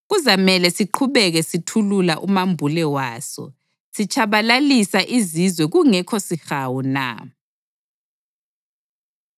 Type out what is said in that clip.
Kuzamele siqhubeke sithulula umambule waso, sitshabalalisa izizwe kungekho sihawu na?